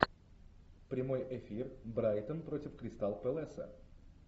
прямой эфир брайтон против кристал пэласа